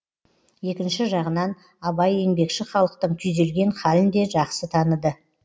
екінші жағынан абай еңбекші халықтың күйзелген халін де жақсы таныды